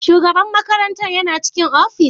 Shugaban makarantar yana cikin ofis?